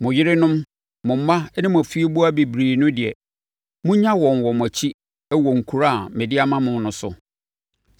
Mo yerenom, mo mma ne mo afieboa bebrebe no deɛ, monnya wɔn wɔ mo akyi wɔ nkuro a mede ama mo no so.